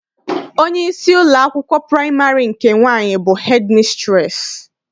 Onyeisi ụlọakwụkwọ praịmarị nke nwaanyị bụ hedịmisitreesị.